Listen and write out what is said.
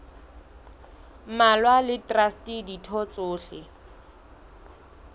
mmalwa le traste ditho tsohle